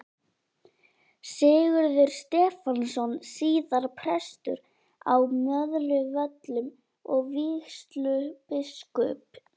Sigurður Stefánsson, síðar prestur á Möðruvöllum og vígslubiskup.